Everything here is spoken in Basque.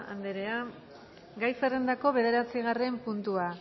anderea gai zerrendako bederatzigarren puntua